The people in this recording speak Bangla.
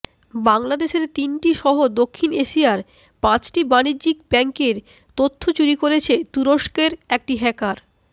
বাংলাদেশের তিনটিসহ দক্ষিণ এশিয়ার পাঁচটি বাণিজ্যিক ব্যাংকের তথ্য চুরি করেছে তুরস্কের একটি হ্যাকার